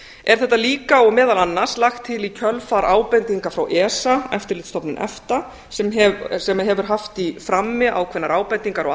er þetta líka og meðal annars lagt til í kjölfar ábendinga frá esa sem hefur haft í frammi ákveðnar ábendingar og